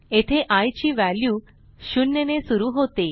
येथे आय ची व्हॅल्यू 0 ने सुरू होते